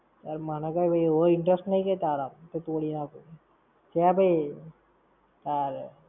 યાર મને કઈ એવો interest નઈ કઈ તારામાં. કે તોડી નાખું. છે ભૈ. તારે.